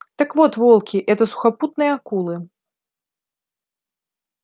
так вот волки это сухопутные акулы